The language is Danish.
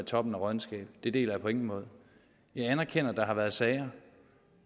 toppen af råddenskab det deler jeg på ingen måde jeg anerkender at der har været sager